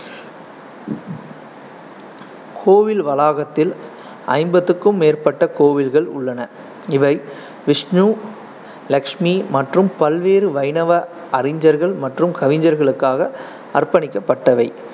கோவில் வளாகத்தில் ஐம்பதுக்கும் மேற்பட்ட கோவில்கள் உள்ளன. இவை விஷ்ணு, லட்சுமி மற்றும் பல்வேறு வைணவ அறிஞர்கள் மற்றும் கவிஞர்களுக்காக அர்ப்பணிக்கப்பட்டவை.